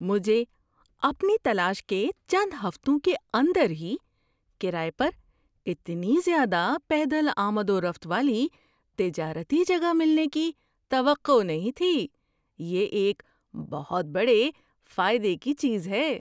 مجھے اپنی تلاش کے چند ہفتوں کے اندر ہی کرایے پر اتنی زیادہ پیدل آمد و رفت والی تجارتی جگہ ملنے کی توقع نہیں تھی – یہ ایک بہت بڑے فائدے کی چیز ہے۔